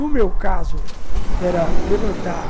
No meu caso, era levantar